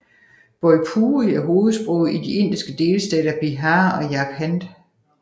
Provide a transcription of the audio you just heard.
Bhojpuri er hovedsproget i de indiske delstater Bihar og Jharkhand